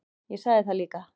Ég sagði það líka.